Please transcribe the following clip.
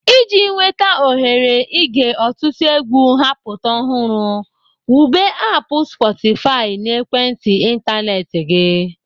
Iji nweta ohere ige ọtụtụ egwu ha-apụta ọhụrụ, wube aapụ "sportify" na ekwentị ịntanetị gị.